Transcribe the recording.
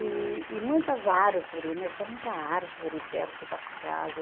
E e muitas árvore né, tinha muita árvore perto da casa.